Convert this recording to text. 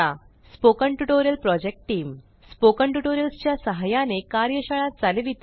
spoken tutorial project team spoken tutorials च्या सहाय्याने कार्यशाळा चालविते